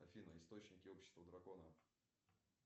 афина источники общества дракона